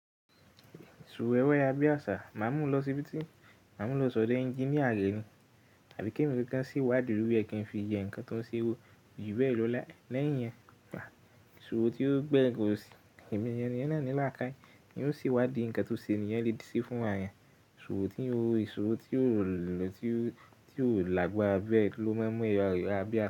Esu wewẹ́ ayara bi àṣà máa ń mú u lọ sí ibi tí, máa ń mú u lọ sọdẹ ẹnjiníà rẹ̀ ni, àbí kí èmi gangan se wádìí lori ẹ kí n fi yẹ nǹkan tó ń ṣe wò, jube lo leyin yẹn. Ìṣòro tí ó gbé nǹkan sí emi náà ní làkae, kí ó sì wádìí ǹkan tó ṣe ènìyàn le ṣe fún ara rẹ̀. Ìṣòro tí ò lọ, tí ò lagbára bẹ́ lọ máa ń mú ẹyọ abẹ̀rẹ̀